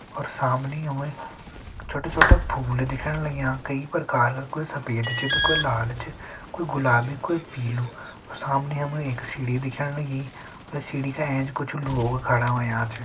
अर समनि हमे छोटा छोटा फूल दिखण लग्यां कई प्रकार कोई सफ़ेद त कोई लाल च कोई गुलाबी कोई पीलू अर सामने हमे एक सीढ़ी दिखण लगी अर सीडी का एंच कुछ लोग खड़ा होयां छ।